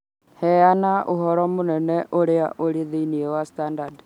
Heana ũhoro munene ũrĩa ũrĩ thĩinĩ wa standard